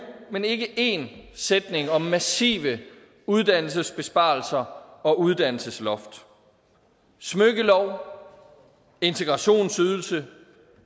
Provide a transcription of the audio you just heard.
men ikke én sætning om massive uddannelsesbesparelser og uddannelsesloft smykkelov integrationsydelse